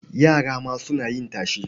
Yara ma suna yin tashe?